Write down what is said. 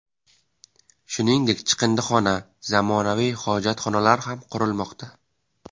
Shuningdek, chiqindixona, zamonaviy hojatxonalar ham qurilmoqda.